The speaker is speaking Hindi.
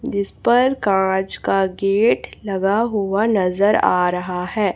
जिस पर कांच का गेट लगा हुआ नजर आ रहा है।